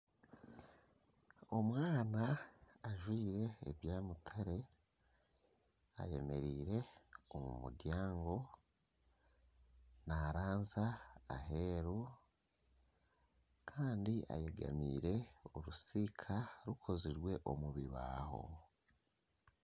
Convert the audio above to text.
Omwana ajwaire ebya mutare ayemereire omu muryango naranzya aheru kandi ayegamiire orusiika rukozirwe omu bibaaho.